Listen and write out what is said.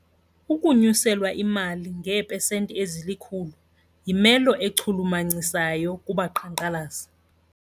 Ukunyuselwa imali ngeepesenti ezilikhulu yimelo echulumachisayo kubaqhankqalazi.